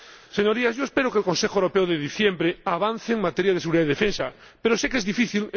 Señorías, yo espero que el Consejo Europeo de diciembre avance en materia de seguridad y defensa, pero sé que es difícil.